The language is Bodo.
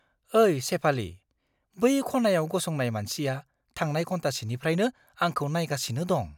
ओइ शेफाली, बै खनायाव गसंनाय मानसिया थांनाय घन्टासेनिफ्रायनो आंखौ नायगासिनो दं!